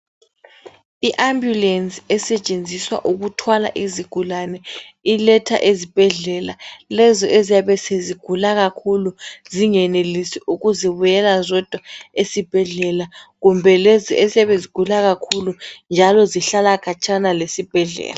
I ambulance esetshenziswa ukuthwala izigulane iletha ezibhendlela lezo eziyabe sezigula kakhulu zingenelisi ukuzibuyela zodwa esibhedlela kumbe lezo eziyabe zigula kakhulu njalo zihlala khatshana lesibhedlela